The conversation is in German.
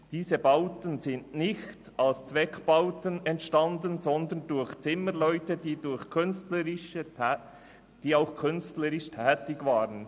Diese Bauten sind nicht als Zweckbauten entstanden, sondern durch Zimmerleute, die auch künstlerisch tätig waren.